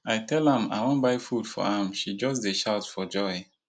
i tell am i wan buy food for am she just dey shout for joy